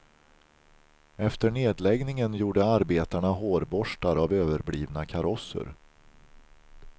Efter nedläggningen gjorde arbetarna hårborstar av överblivna karosser.